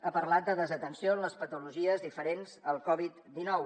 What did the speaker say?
ha parlat de desatenció en les patologies diferents al covid dinou